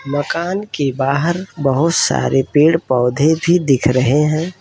मकान के बाहर बहुत सारे पेड़ पौधो भी दिख रहे हैं।